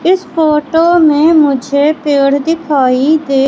इस फोटो में मुझे पेड़ दिखाई दे--